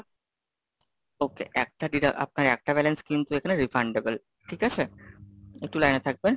okay, একটা ডিডা আপনার একটা balance কিন্তু এখানে Refundable, ঠিক আছে? একটু লাইনে থাকবেন।